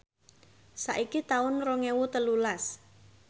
saiki taun rong ewu telulas